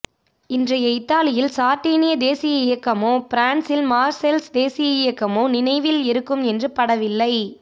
இன்றைய இத்தாலியில் சார்டீனிய தேசிய இயக்கமோ பிரான்ஸில் மார்சேல்ஸ் தேசிய இயக்கமோ நினைவில் இருக்கும் என்று படவில்லை